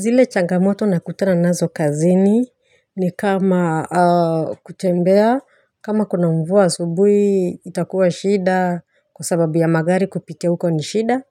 Zile changamoto nakutana nazo kazini ni kama kutembea, kama kuna mvua asubuhi itakuwa shida kwa sababu ya magari kupita uko ni shida,